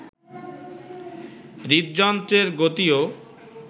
হৃদযন্ত্রের গতিও